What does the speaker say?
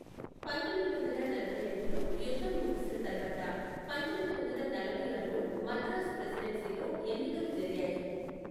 పంతొమ్మిది వందల నలభై ఐదులో యుద్ధం ముగిసిన తర్వాత, పంతొమ్మిది వందల నలభై ఆరులో మద్రాసు ప్రెసిడెన్సీలో ఎన్నికలు జరిగాయి.